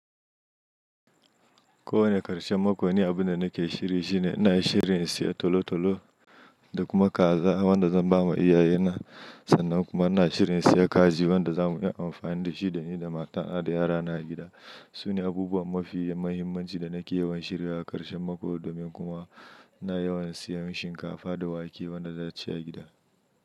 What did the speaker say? Ko wane karshen mako, ni abun da nake shiri shine ina shiri in saya tolo-tolo da kuma kaza wanda zan ba ma iyaye na, sannan kuma ina shiri in saya kaji wanda za mu yi amfani da shi da ni da matana da yara na a gida. Sune abubuwa mafi mahimmanci da nake yawan shiryawa a karshen mako domin kuma ina yawan siyan shinkafa da wake wanda za a ci a gida.